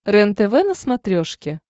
рентв на смотрешке